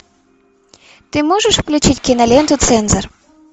ты можешь включить киноленту цензор